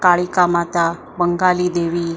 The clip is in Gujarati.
કાળીકા માતા બંગાલી દેવી અ--